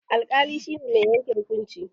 Alƙali shi ne mai yanke hukunci.